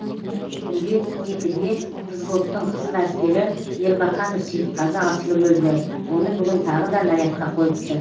түнде екіде взводтың қызыләскері ербақанов сейітқазы асылып өлді оны бүгін тағы да нарядқа қойыпты